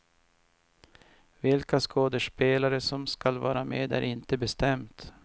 Vilka skådespelare som skall var med är inte bestämt.